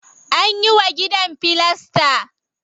Anyi wa gidan filasta.